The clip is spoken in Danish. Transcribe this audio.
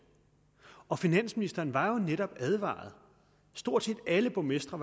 og finansministeren var netop advaret stort set alle borgmestre